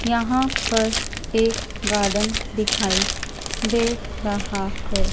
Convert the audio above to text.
यहाँ पर एक गार्डन दिखाई दे रहा हैं।